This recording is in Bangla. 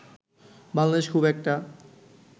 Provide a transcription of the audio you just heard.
বাংলাদেশ খুব একটা